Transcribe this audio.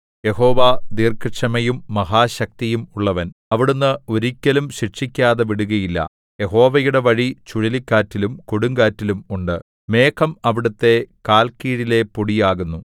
യഹോവ ദീർഘക്ഷമയും മഹാശക്തിയും ഉള്ളവൻ അവിടുന്ന് ഒരിക്കലും ശിക്ഷിക്കാതെ വിടുകയില്ല യഹോവയുടെ വഴി ചുഴലിക്കാറ്റിലും കൊടുങ്കാറ്റിലും ഉണ്ട് മേഘം അവിടുത്തെ കാൽക്കീഴിലെ പൊടിയാകുന്നു